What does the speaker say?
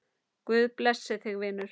Guð blessi þig vinur.